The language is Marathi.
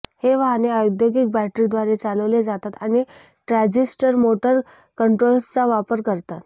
हे वाहने औद्योगिक बॅटरीद्वारे चालवले जातात आणि ट्रॅझिस्टर मोटर कंट्रोलर्सचा वापर करतात